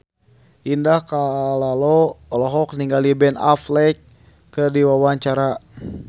Indah Kalalo olohok ningali Ben Affleck keur diwawancara